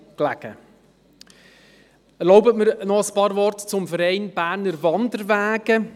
Erlauben Sie mir noch ein paar Worte über den BWW zu verlieren.